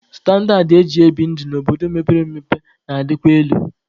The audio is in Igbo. Standaad eji ebi ndụ n'obodo mepere emepe na-adịkwa elu.